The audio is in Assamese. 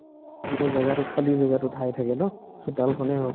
গোটেই জেগাটো খালী জেগাটো ঠাইয়ে থাকে ন চোতালখনে হওক